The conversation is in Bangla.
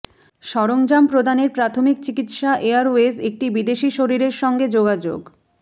সরঞ্জাম প্রদানের প্রাথমিক চিকিত্সা এয়ারওয়েজ একটি বিদেশী শরীরের সঙ্গে যোগাযোগ